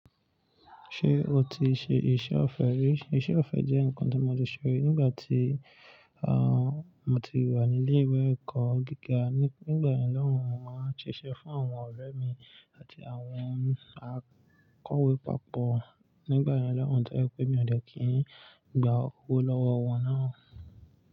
Ṣé o ti ṣe iṣẹ́ ọ̀fẹ́ rí? Iṣẹ́ ọ̀fẹ́ jẹ́ nǹkan tí mo leè ṣe nígbà tí, àwọn, mo ti wà ní ilé ìwé ẹ̀kọ́ gíga. Ní, nígbà yen lọ́hùn-ún, mo máa ń ṣiṣẹ́ fún àwọn ọ̀rẹ́ mi àti àwọn akọ̀wé pààpọ̀. Nígbà yen lọ́hùn-ún, to ye pe mi ò dẹ́kìí gba owó lọ́wọ́ wọn náà.